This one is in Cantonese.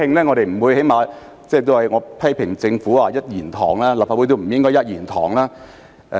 我曾批評政府是一言堂，立法會亦不應是一言堂。